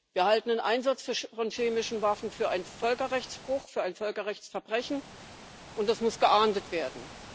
Wir halten den Einsatz von chemischen Waffen für einen Völkerrechtsbruch, für ein Völkerrechtsverbrechen, und das muss geahndet werden.